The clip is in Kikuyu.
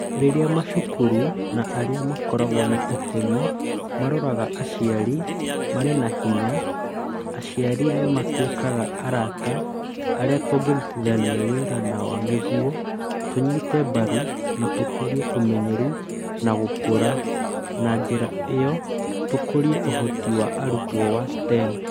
Rĩrĩa macukuru na arĩa makoragwo na itemi maroraga aciari marĩ na hinya, aciari nĩ matuĩkaga arata arĩa tũngĩrutithania wĩra nao nĩguo tũnyite mbaru na tũkũrie ũmenyeru na gũkũra, na njĩra ĩyo tũkũrie ũhoti wa arutwo wa STEAM